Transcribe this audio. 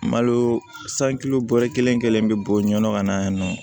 Malo sanu bɔyɔrɔ kelen kelen bɛ bɔ ɲɔnɔ ka na yen nɔ